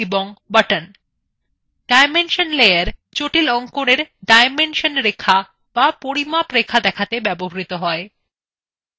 dimension layer জটিল অঙ্কনএর dimension রেখা the পরিমাপ রেখা দেখাতে ব্যবহৃত হয়